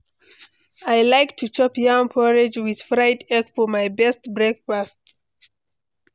I like to chop yam porridge with fried egg for my best breakfast.